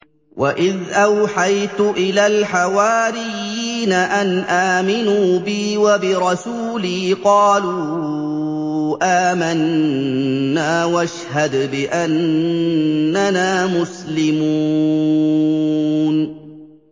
وَإِذْ أَوْحَيْتُ إِلَى الْحَوَارِيِّينَ أَنْ آمِنُوا بِي وَبِرَسُولِي قَالُوا آمَنَّا وَاشْهَدْ بِأَنَّنَا مُسْلِمُونَ